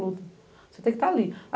Você tem que estar ali.